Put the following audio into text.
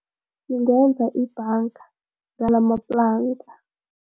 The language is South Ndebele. Singenza ibhanga ngalamaplanka.